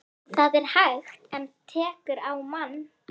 Það er hægt. en tekur á mann.